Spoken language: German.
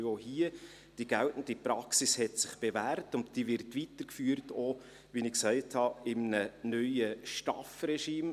Denn auch hier hat sich die geltende Praxis bewährt, und sie wird auch weitergeführt in einem – wie ich gesagt habe – neuen STAF-Regime.